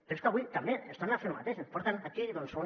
però és que avui també ens tornen a fer lo mateix ens porten aquí doncs una